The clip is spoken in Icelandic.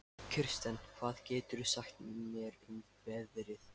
Kirsten, hvað geturðu sagt mér um veðrið?